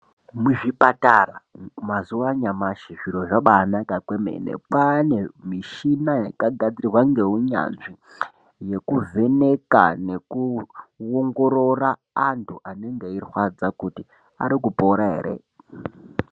Muzvipatara mazuwa anyamashi zviro zvabaanaka kwemene kwaane mishina yakagadzirwa ngeunyanzvi yokuvheneka nekuongorora antu Anenge eirwadza kuti ari kupora ere.